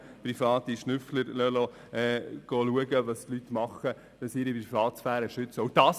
Wir lassen private Schnüffler schauen, was die Leute tun, wenn sie ihre Privatsphäre schützen.